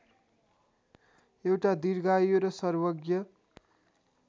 एउटा दीर्घायु र सर्वज्ञ